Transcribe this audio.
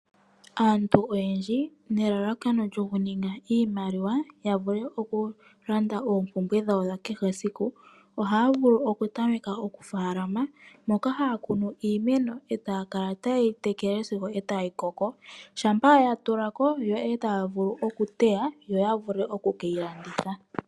Aantu oyendji nelalakano lyokuninga iimaliwa ya vule okulanda oompumbwe dhawo dha kehe esiku ohaya vulu okutameka okufaalama moka haya kunu iimeno e taya kala taye yi tekele sigo ya koko. Shampa ya koko yo e taya vulu okuteya yo ya vule oku ke yi landitha.